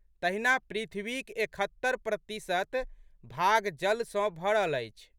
तहिना पृथ्वीक एकहत्तरि प्रतिशत भाग जल सँ भरल अछि।